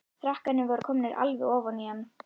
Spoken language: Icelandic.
Krakkarnir voru komnir alveg ofan í hann.